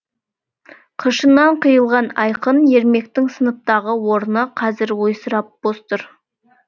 қыршыннан қиылған айқын ермектің сыныптағы орны қазір ойсырап бос тұр